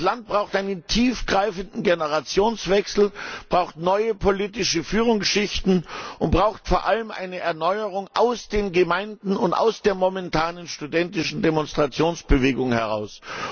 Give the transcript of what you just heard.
Das Land braucht einen tiefgreifenden Generationswechsel, braucht neue politische Führungsschichten und braucht vor allem eine Erneuerung aus den Gemeinden und aus der momentanen studentischen Demonstrationsbewegung heraus.